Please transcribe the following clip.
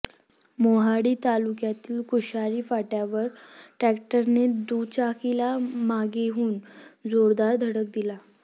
मोहाडी तालुक्यातील कुशारी फाट्यावर ट्रक्टर ने दुचाकीला मागेहून जोरदार धडक दिली